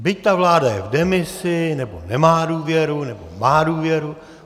Byť ta vláda je v demisi, nebo nemá důvěru, nebo má důvěru.